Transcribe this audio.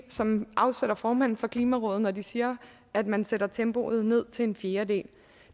som afsætter formanden for klimarådet når de siger at man sætter tempoet ned til en fjerdedel